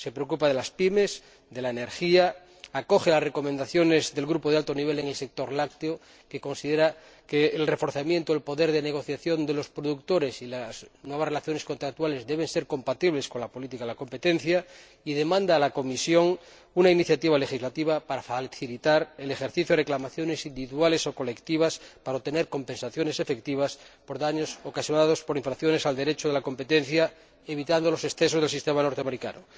Se preocupa asimismo de las PYME y de la energía, acoge las recomendaciones del Grupo de Alto Nivel del sector lácteo —que considera que el reforzamiento del poder de negociación de los productores y las nuevas relaciones contractuales deben ser compatibles con la política de competencia— y demanda a la Comisión una iniciativa legislativa para facilitar el ejercicio de reclamaciones individuales o colectivas destinadas a obtener compensaciones efectivas por daños ocasionados por infracciones del Derecho de la competencia, evitando los excesos del sistema estadounidense.